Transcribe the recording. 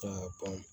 Ka ban